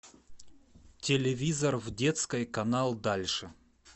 телевизор в детской канал дальше